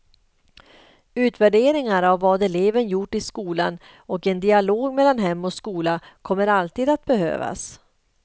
Utvärderingar av vad eleven gjort i skolan och en dialog mellan hem och skola kommer alltid att behövas.